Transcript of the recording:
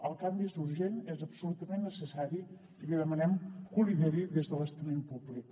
el canvi és urgent és absolutament necessari i li demanem que ho lideri des de l’estament públic